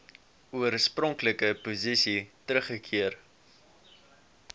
oorspronklike posisie teruggekeer